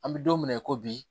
An bɛ don min na i ko bi